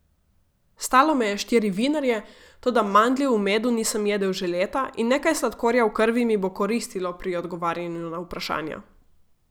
Stalo me je štiri vinarje, toda mandljev v medu nisem jedel že leta in nekaj sladkorja v krvi mi bo koristilo pri odgovarjanju na vprašanja.